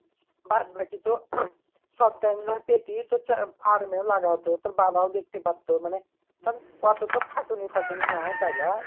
তি বাদ বাকি তো সব time ধর পেতিস তো চা farm এ লাগাতো তোর বাবাও দেখতে পারতো মানে ধর অতো তো খাটুনি ফাটুনি নাই তাই লই।